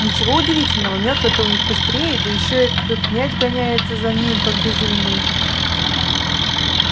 ничего удивительного мётлы-то у них быстрее да ещё этот мяч гоняется за ним как безумный